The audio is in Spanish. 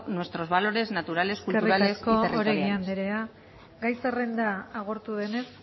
nuestros valores naturales culturales y territoriales eskerrik asko oregi anderea gai zerrenda agortu denez